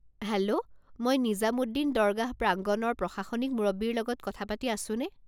Hello, মই নিজামুদ্দিন দৰগাহ প্ৰাংগণৰ প্ৰশাসনিক মুৰব্বীৰ লগত কথা পাতি আছোনে?